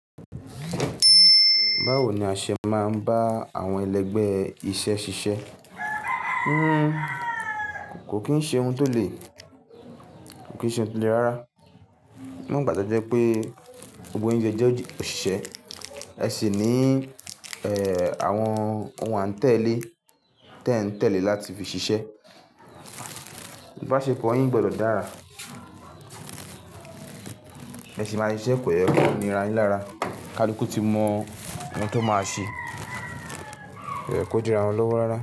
Báwo ni a ṣe máa ń bá àwọn ẹlẹgbẹ́ iṣẹ́ ṣiṣẹ́? Kò kì n ṣe ohun tó lè rárá. Nígbà tí ẹ jẹ́ pé gbogbo yín jẹ́ òṣìṣẹ́, ẹ sì ní àwọn ohun àtẹ̀lé tí ẹ̀ ń tẹ̀lé láti fi ṣiṣẹ́. Ìbáṣepọ̀ yín gbọdọ̀ dára. Ẹ sì máa ṣiṣẹ́ pẹ̀lú ìnira yín lára. Ká lúku kí ti mọ ohun tó máa ṣe. Ó yẹ kó di ara ọlọ́wọ́ rárá.